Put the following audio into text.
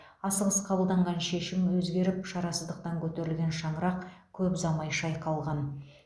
асығыс қабылданған шешім өзгеріп шарасыздықтан көтерілген шаңырақ көп ұзамай шайқалған